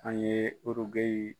An ye Urugeyi